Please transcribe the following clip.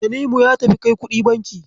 Tanimu ya tafi kai kuɗi banki.